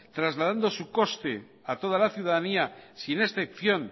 trasladando su coste a toda la ciudadanía sin excepción